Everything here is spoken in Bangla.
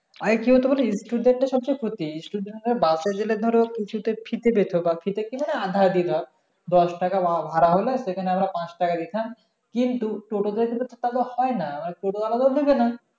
আরেকটু কি student দের সবচেয়ে ক্ষতি student রা bus এ গেলে ধরো কিছুতে ফিতে পেত বা ফিতে কি মানে আধা আধি ধর দশ টাকা বা ভাড়া হলে সে খানে আমরা পাঁচ টাকা দিতাম কিন্তু টোটো দের সাথে তো হয় না মানে টোটো আলারা তো নিবে না